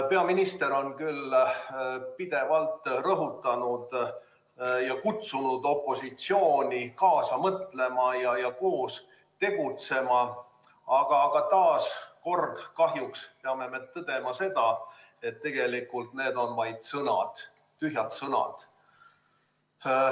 Peaminister on küll pidevalt rõhutanud ja kutsunud opositsiooni kaasa mõtlema ja koos tegutsema, aga kahjuks peame taas kord tõdema seda, et tegelikult need on vaid sõnad, tühjad sõnad.